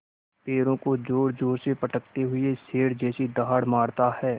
पैरों को ज़ोरज़ोर से पटकते हुए शेर जैसी दहाड़ मारता है